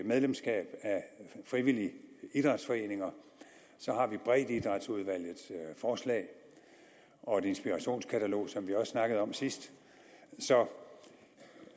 medlemskab af frivillige idrætsforeninger har vi breddeidrætsudvalgets forslag og et inspirationskatalog som vi også snakkede om sidst så